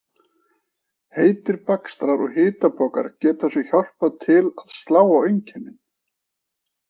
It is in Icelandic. Heitir bakstrar og hitapokar geta svo hjálpað til að slá á einkennin.